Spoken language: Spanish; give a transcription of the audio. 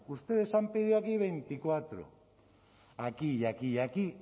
ustedes han pedido aquí veinticuatro aquí y aquí y aquí